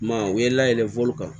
I m'a ye u ye layɛlɛn kan